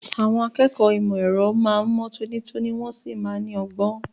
Àwọn akẹ́kọ̀ọ́ ìmọ̀ ẹ̀rọ máa ń mọ́ tónítóní wọ́n sì máa ń ní ọgbọ́n.